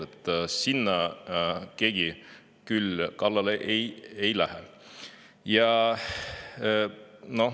Selle kallale keegi küll ei lähe.